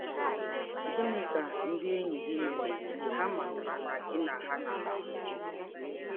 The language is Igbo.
Gịnị ka ndị enyi gị mere mgbe ha matara na gị na Ha na - akpa?